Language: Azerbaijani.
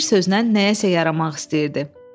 Bir sözlə nəyəsə yaramaq istəyirdi.